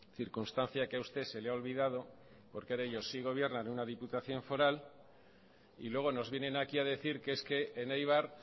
circunstancia que a usted se le ha olvidado porque ahora ellos sí gobiernan una diputación foral y luego nos vienen aquí a decir que es que en eibar